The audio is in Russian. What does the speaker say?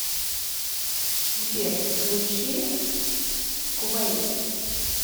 сбер включи куэйт